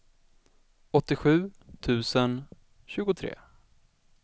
åttiosju tusen tjugotre